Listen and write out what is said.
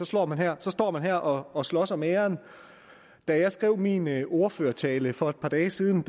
står man her her og og slås om æren da jeg skrev min ordførertale for et par dage siden